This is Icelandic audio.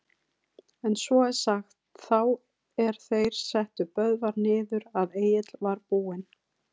En svo er sagt, þá er þeir settu Böðvar niður, að Egill var búinn